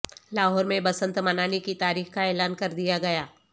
لاہور میں بسنت منانے کی تاریخ کا اعلان کردیا گیا